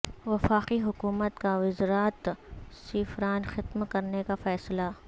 وفاقی حکومت کا وزارت سیفران ختم کرنے کا فیصلہ